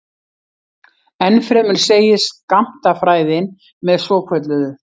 Ennfremur segir skammtafræðin með svokölluðu